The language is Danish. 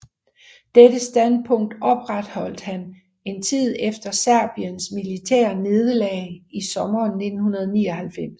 Dette standpunkt opretholdt han en tid efter Serbiens militære nederlag i sommeren 1999